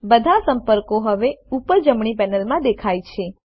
બધા સંપર્કો હવે ઉપર જમણી પેનલમાં દેખાય છે